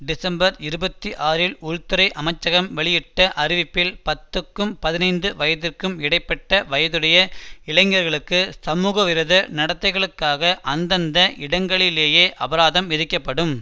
December இருபத்தி ஆறில் உள்துறை அமைச்சகம் வெளியிட்ட அறிவிப்பில் பத்துக்கும் பதினைந்து வயதிற்கும் இடை பட்ட வயதுடைய இளைஞர்களுக்கு சமூகவிரோத நடத்தைகளுக்காக அந்தந்த இடங்களிலேயே அபராதம் விதிக்கப்படும்